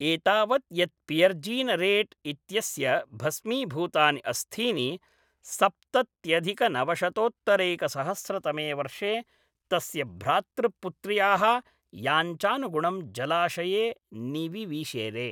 एतावत् यत् पियर्जीनरेट् इत्यस्य भस्मीभूतानि अस्थीनि सप्तत्यधिकनवशतोत्तरैकसहस्रतमे वर्षे तस्य भ्रातृपुत्र्याः याञ्चानुगुणं जलाशये निविविशेरे।